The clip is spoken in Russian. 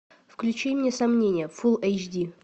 включи мне сомнения фул эйч ди